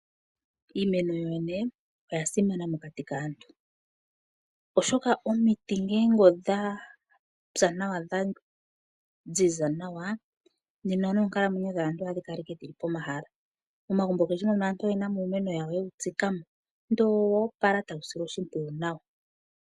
Iimeno yoyene oya simana mokati kaantu, oshoka omiti nge odha pya nawa dha ziza nawa nena noonkalamwenyo dhaantu ohadhi kala ike dhili pomahala. Momagumbo gawo aantu oyena mo iimeno yawo yewu tsikamo ndele owoopala tawu silwa oshimpwiyu nawa.